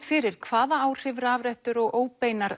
fyrir hvaða áhrif rafrettur og óbeinar